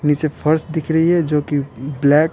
नीचे फर्स्ट दिख रही हैजो कि ब्लैक।